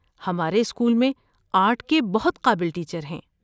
ہمارے اسکول میں آرٹ کے بہت قابل ٹیچر ہیں۔